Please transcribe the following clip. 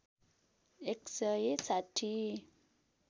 १ सय ६०